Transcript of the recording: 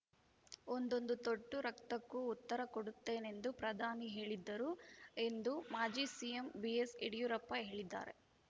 ಒಂದೊಂದು ತೊಟ್ಟು ರಕ್ತಕ್ಕೂ ಉತ್ತರ ಕೊಡುತ್ತೇನೆಂದು ಪ್ರಧಾನಿ ಹೇಳಿದ್ದರು ಎಂದು ಮಾಜಿ ಸಿಎಂ ಬಿಎಸ್‌ ಯಡಿಯೂರಪ್ಪ ಹೇಳಿದ್ದಾರೆ